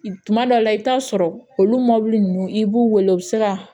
Tuma dɔw la i bɛ taa sɔrɔ olu mɔbili ninnu i b'u wele u bɛ se ka